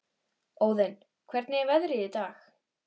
Óðinn, hvernig er veðrið í dag?